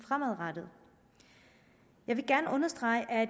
fremadrettet jeg vil gerne understrege at